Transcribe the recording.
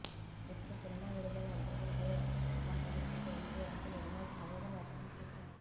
ఇప్పుడు సినిమా విడుదల అడ్డుకుంటే మా పరిస్థితి ఏంటీ అంటూ నిర్మాత ఆవేదన వ్యక్తం చేశారు